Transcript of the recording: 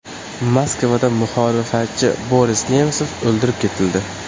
Moskvada muxolifatchi Boris Nemsov o‘ldirib ketildi.